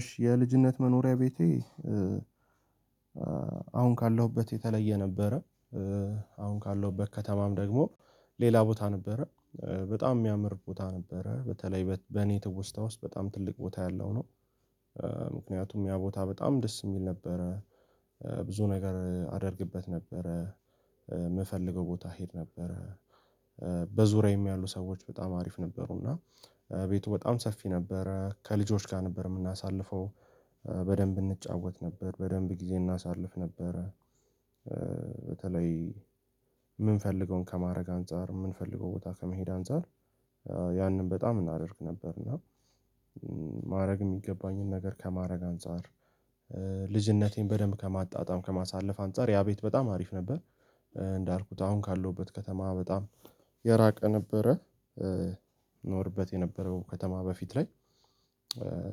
እሺ የልጅነት መኖሪያ ቤቴ። አሁን ካለሁበት የተለየ ነበረ። አሁን ካለው ከተማም ደግሞ ሌላ ቦታ ነበረ። በጣም የሚያምር ቦታ ነበረ በተለይ በኔ ትውስታ ውስጥ በጣም ትልቅ ቦታ ያለው ነው። ምክንያቱም ያ ቦታ በጣም ደስ የሚል ነበረ። ብዙ ነገር አደርግበት ነበረ ምፈልገው ቦታ እሄድ ነበረ። በዙሪዬም ያሉ ሰዎች በጣም አሪፍ ነበሩና። ቤቱ በጣም ሰፊ ነበረ ከልጆች ጋር ነበረ ሚነሳልፈው በደንብ እንጨወት ነበረ በደንብ ጊዜ እናሳልፍ ነበረ። በተለይ ምንፈልገዉን ከማድረግ አንፃር ምንፈልገዉን ቦታ ከመሄድ አንፃር ያንን በጣም እናደርግ ነበረና። ማረግ የሚገባኝን ነገር ከማድረግ አንፃር ልጅነቴን በጣም ከመጣጠም ከማሳለፍ አንፃር ያ ቤት በጣም አሪፍ ነበር። እንዳልኩት አሁን ካለሁበት ከተማ በጣም የራቀ ነበረ። እኖርባት የነበረው ከተማ በፍት ላይ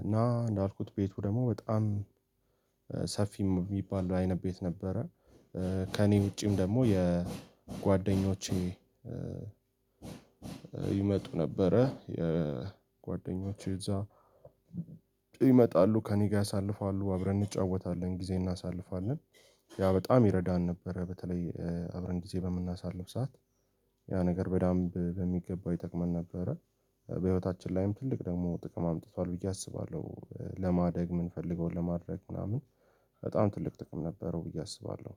እና እንዳልኩት ቤቱ ደግሞ በጣም ሰፊ ሚባል አይነት ቤት ነበረ። ከእኔ ዉጭ ደግሞ የጓደኞቼ ይመጡ ነበረ የ ጓደኞቼ እዛ ቤ ይመጣሉ ከእኔ ጋር ያሳልፋሉ አብረን እንጨወታለን ጊዜ እናሸንፋለ። ያ በጣም ይረዳን ነበረ በተላይ አብረን ጊዜ ምናሳልፍ ሰዓት ያ ነገር በደንብ በሚገባ ይጠማን ነበረ። በህይወታችን ላይም ትልቅ ጥቅም አምጥቷል ብዬ አስባለሁ ለማድረግ ምንፈልገዉን ለማድረግ ምናምን በጣም ትልቅ ጥቅም ነበረው ብዬ አስባለሁ